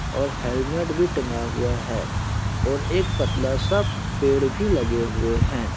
और हेलमेट भी टंगा हुआ है। और एक पतला सा पेड़ भी लगे हुये है।